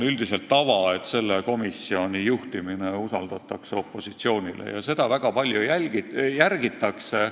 Üldiselt on tava, et selle komisjoni juhtimine usaldatakse opositsioonile, ja seda väga sageli järgitakse.